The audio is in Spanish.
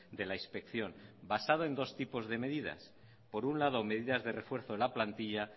de la inspección basado en dos tipos de medidas por un lado medidas de refuerzo de la plantilla